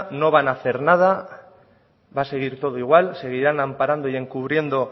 no van a hacer nada va a seguir todo igual seguirán amparando y encubriendo